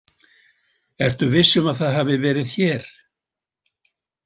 Ertu viss um að það hafi verið hér?